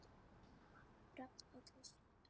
Rafn og Katrín.